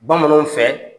Bamananw fɛ